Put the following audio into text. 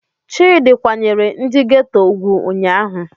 Chidi kwanyere ndi geto ugwu ụnyahụ.